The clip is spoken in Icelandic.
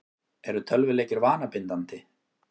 Eru tölvuleikir vanabindandi?